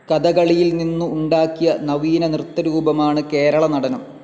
കഥകളിയിൽ നിന്നു ഉണ്ടാക്കിയ നവീന നൃത്തരൂപമാണ് കേരള നടനം.